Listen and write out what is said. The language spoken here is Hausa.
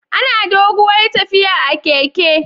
Anayin doguwar tafiya a keke